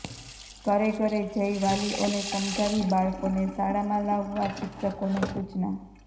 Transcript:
ઘરે ઘરે જઇ વાલીઓને સમજાવી બાળકોને શાળામાં લાવવા શિક્ષકોને સૂચના